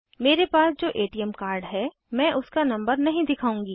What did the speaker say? मेरे पास जो एटीएम कार्ड हैं मैं उसका नंबर नहीं दिखाऊंगी